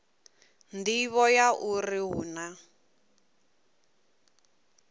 nḓivho ya uri hu na